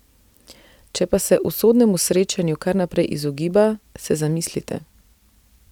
Če pa se usodnemu srečanju kar naprej izogiba, se zamislite.